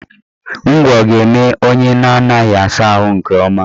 Ngwọ ga-eme onye na-anaghị asa ahụ nke ọma